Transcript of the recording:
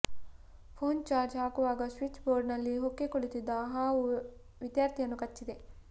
phone charge ಹಾಕುವಾಗ switch ಬೋರ್ಡ್ನಲ್ಲಿ ಹೊಕ್ಕಿ ಕುಳಿತಿದ್ದ ಹಾವು ವಿದ್ಯಾರ್ಥಿಯನ್ನು ಕಚ್ಚಿದೆ